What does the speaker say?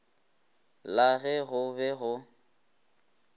la ge go be go